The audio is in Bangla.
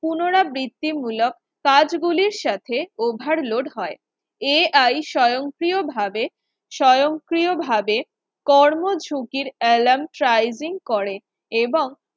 পুনরাবৃত্তি মূলক কাজ গুলির সাথে overload হয় Ai স্বয়ংক্রিয়ভাবে স্বয়ংক্রিয়ভাবে কর্মঝুঁকির alarm trizin করে এবং